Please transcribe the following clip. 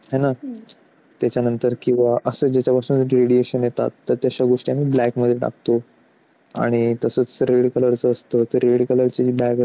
हाय ना त्याच्यानंतर किंवा असे जे ज्याच्यापासून radiation येतात त्याला आम्ही black मध्ये टाकतो.